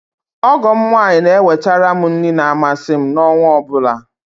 Ọgọ m nwaanyị na eweterem nri ma amasị m na ọnwa ọbụla